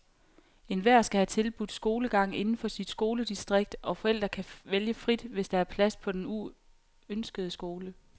Enhver skal have tilbudt skolegang inden for sit skoledistrikt, og forældre kan vælge frit, hvis der er plads på den ønskede skole.